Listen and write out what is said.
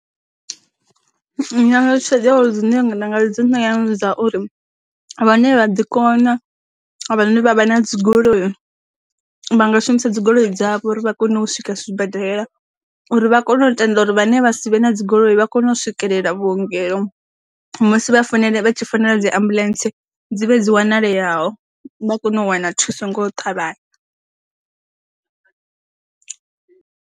Nyala ṱhoḓea dzine nṋe nda nga dzi no ya ndi dza uri, vhane vha ḓi kona vhane vha vha na dzigoloi, vha nga shumisa dzigoloi dzavho uri vha kone u swika sibadela uri vha kone u tenda uri vhane vha si vhe na dzigoloi vha kone u swikelela vhuongelo musi vha fanele vha tshi founela dzi ambuḽentse, dzi vhe dzi wanale yaho vha kone u wana thuso ngo thavhanya.